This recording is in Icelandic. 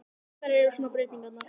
Hverjar eru svona breytingarnar?